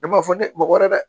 Ne b'a fɔ ne mɔgɔ wɛrɛ dɛ